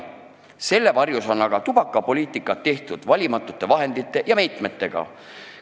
Selle varjus on aga tubakapoliitikat tehtud valimatute vahendite ja meetmetega.